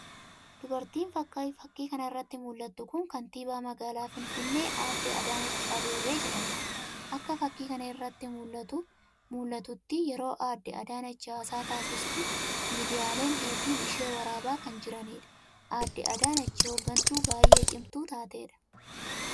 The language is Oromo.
Dubartiin Fakii kana irratti mul'attu kun Kaantibaa Magaalaa Finfinnee Aadde Adaanach Abeebee jedhamti. Akka fakii kana irratti mul'atutti yeroo Aadde Adaanach haasaa taassistu miidiyaaleen hedduun ishee waraabaa kan jiranidha. Aadde Adaanech hooggantuu baay'ee cimtuu taatedha.